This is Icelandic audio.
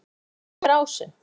Blín, hvenær kemur ásinn?